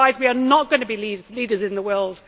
Otherwise we are not going to be leaders in the world.